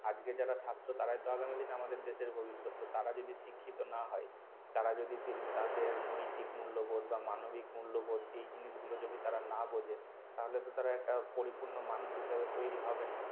আজকে যারা ছাত্র তারাই তো আগামী দিনে আমাদের দেশের ভবিষ্যৎ তো তারা যদি শিক্ষিত না হয় তারা যদি তাদের নৈতিক মূল্যবোধ বা মানবিক মূল্যবোধ এই জিনিসগুলো যদি তারা না বোঝে তাহলে তো তারা একটা পরিপূর্ণ মানুষ হিসেবে তৈরি হবে না